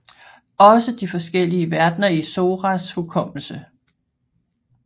Også de forskellige verdener i Soras hukommelse